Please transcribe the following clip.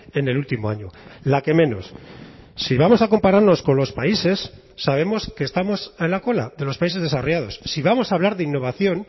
en el último año la que menos si vamos a compararnos con los países sabemos que estamos a la cola de los países desarrollados si vamos a hablar de innovación